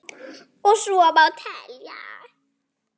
Og svo má telja.